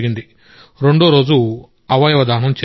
రెండో రోజు అవయవదానం చేశాం